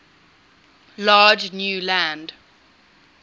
large new land